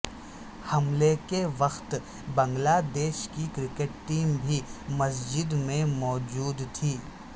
حملے کے وقت بنگلہ دیش کی کرکٹ ٹیم بھی مسجد میں مو جو د تھی